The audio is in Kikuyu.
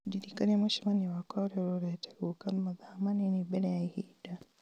ũndirikanie mũcemanio wakwa ũrĩa ũrorete gũũka mathaa manini mbere ya ihinda